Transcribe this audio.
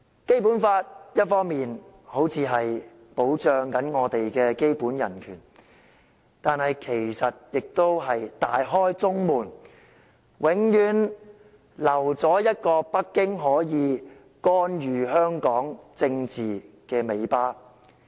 《基本法》一方面看似保障我們的基本人權，但其實亦是"大開中門"，永遠留下一條讓北京可以干預香港政治的尾巴。